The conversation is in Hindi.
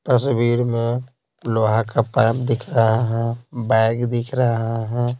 तस्वीर में लोहा का पैप दिख रहा है बैग दिख रहा है।